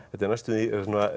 þetta er næstum því